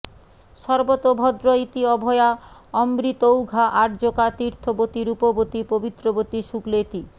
সর্বতোভদ্র ইতি অভয়া অমৃতৌঘা আর্যকা তীর্থবতী রূপবতী পবিত্রবতী শুক্লেতি